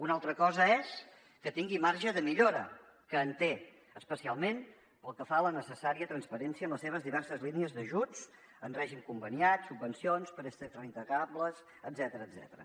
una altra cosa és que tingui marge de millora que en té especialment pel que fa a la necessària transparència amb les seves diverses línies d’ajuts en règim conveniat subvencions préstecs reintegrables etcètera etcètera